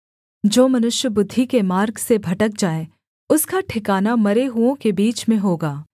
जो मनुष्य बुद्धि के मार्ग से भटक जाए उसका ठिकाना मरे हुओं के बीच में होगा